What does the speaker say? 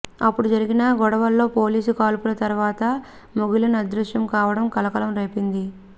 అప్పుడు జరిగిన గొడవల్లో పోలీసు కాల్పుల తర్వాత ముగిలన్ అదృశ్యం కావడం కలకలం రేపింది